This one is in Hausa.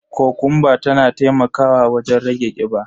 Kokumba tana taimakawa wajen rage kiba.